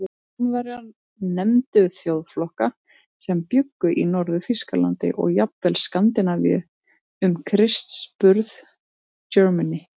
Rómverjar nefndu þjóðflokka sem bjuggu í Norður-Þýskalandi og jafnvel Skandinavíu um Krists burð Germani.